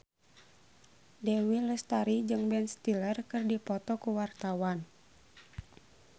Dewi Lestari jeung Ben Stiller keur dipoto ku wartawan